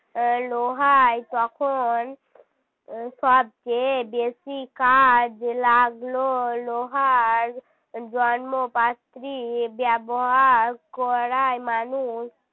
লোহাই তখন সবচেয়ে বেশি কাজ লাগল লোহার জন্ম পাত্রী ব্যবহার করায় মানুষ